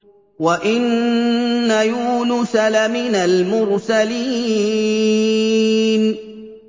وَإِنَّ يُونُسَ لَمِنَ الْمُرْسَلِينَ